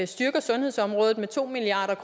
styrker sundhedsområdet med to milliard